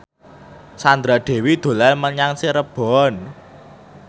Sandra Dewi dolan menyang Cirebon